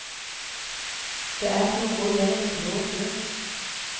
Det er som å gå gjennom en blå dør.